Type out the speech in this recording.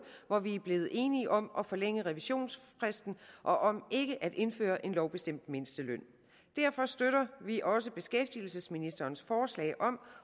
hvor vi blev enige om at forlænge revisionsfristen og om ikke at indføre en lovbestemt mindsteløn derfor støtter vi også beskæftigelsesministerens forslag om